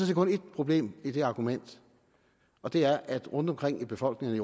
set kun ét problem i det argument og det er at rundtomkring i befolkningerne